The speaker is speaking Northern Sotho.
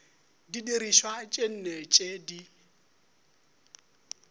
didirišwa tše nne tše di